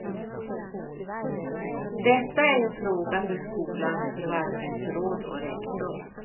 Detta är en fråga för skolans förvaltningsråd och rektor.